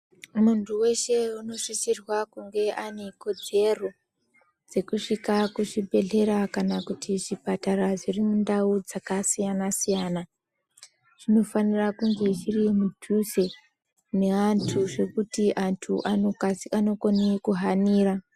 Muntu weshe unosisirwa kunge ane kodzero dzekusvika kuchibhedhlera kana kuti chipatara dziri mundau dzakasiyana siyana chinofanira kunge chiri mudhuze ne antu zvekuti antu anokone kuhanira.